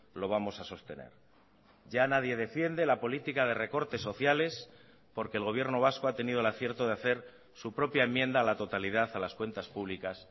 lo vamos a sostener ya nadie defiende la política de recortes sociales porque el gobierno vasco ha tenido el acierto de hacer su propia enmienda a la totalidad a las cuentas públicas